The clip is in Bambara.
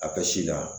A ka si la